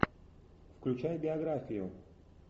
включай биографию